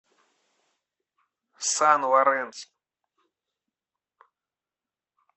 сан лоренсо